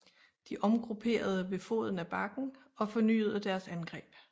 De omgrupperede ved foden af bakken og fornyede deres angreb